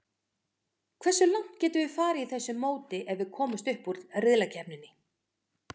Hversu langt getum við farið í þessu móti ef við komumst upp úr riðlakeppninni?